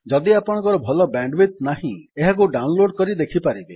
ଯଦି ଆପଣଙ୍କର ଭଲ ବ୍ୟାଣ୍ଡ୍ ୱିଡଥ୍ ନାହିଁ ଏହାକୁ ଡାଉନ୍ ଲୋଡ୍ କରି ଦେଖିପାରିବେ